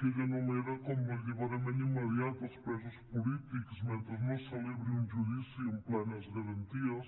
que ell anomena com l’alliberament immediat dels presos polítics mentre no es celebri un judici en plenes garanties